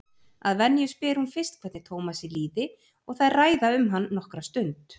Að venju spyr hún fyrst hvernig Tómasi líði og þær ræða um hann nokkra stund.